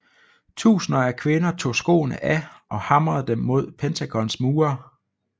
Tusinder af kvinder tog skoene af og hamrede dem mod Pentagons mure